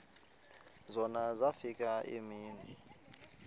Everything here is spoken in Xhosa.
zona zafika iimini